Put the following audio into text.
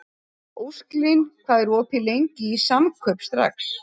Ósklín, hvað er opið lengi í Samkaup Strax?